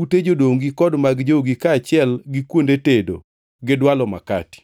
ute jodongi kod mag jogi, kaachiel gi kuonde tedo gi dwalo makati.